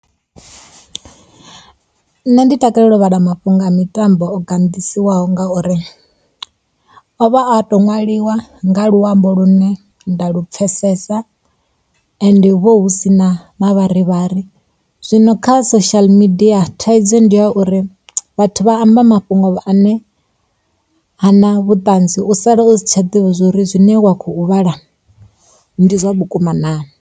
Nṋe ndi takalela u vhala mafhungo a mitambo o ganḓiswaho ngauri a vha o to nwaliwa nga luambo lu ne nda lu pfesesa ende hu vha hu si na mavharivhari. Zwino kha social media, thaidzo ndi ya uri vhathu vha amba mafhungo ane ha na vhuṱanzi, u sala u si tsha ḓivha zwa uri zwine wa khou vhala ndi zwa vhukuma naa.